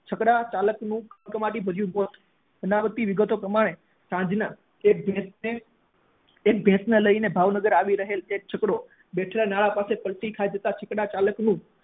છકડા ચાલક નું કમકમાટી મૃત્યુ thyu બનાવટી વિગતો પ્રમાણે સાંજ ના એક ભેંસ ને એક ભેંસ ને ભાવનગર લઇ આવી રહેલ છકડો બેઠેલા માણસો સાથે છકડો પલટી ખાતા છકડા ચાલક નું